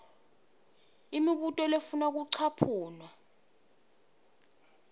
imibuto lefuna kucaphuna